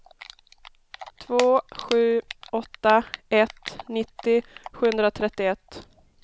två sju åtta ett nittio sjuhundratrettioett